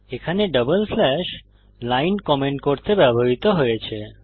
এখানে double slash line comment করতে ব্যবহৃত হয়েছে